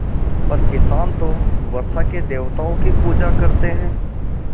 पर किसान तो वर्षा के देवताओं की पूजा करते हैं